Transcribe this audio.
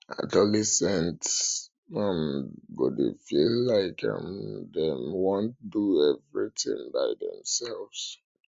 adolescents um go dey feel like um dem want do everytins by um demselves